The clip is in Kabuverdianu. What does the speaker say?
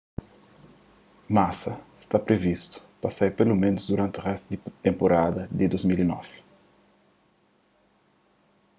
massa sta privistu pa sai peloménus duranti réstu di tenpurada di 2009